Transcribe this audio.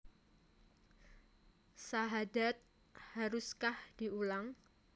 Sahadat haruskah diulang